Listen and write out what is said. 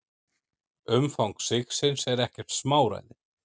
Umfang sigsins er ekkert smáræði.